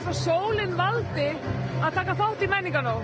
sólin valdi að taka þátt i menningarnótt